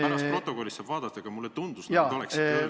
Pärast stenogrammist saab vaadata, aga mulle tundus, nagu te oleksite öelnud ...